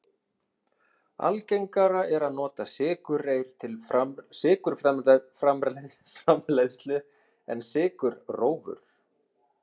Algengara er að nota sykurreyr til sykurframleiðslu en sykurrófur.